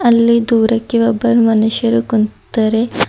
ಅಲ್ಲಿ ದೂರಕ್ಕೆ ಒಬ್ಬರ್ ಮನುಷ್ಯರು ಕುಂತರೆ.